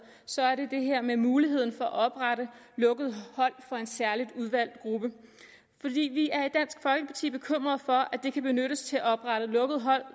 så er det det her med muligheden for at oprette lukkede hold for en særlig udvalgt gruppe for vi er i dansk folkeparti bekymrede for at det kan benyttes til at oprette lukkede hold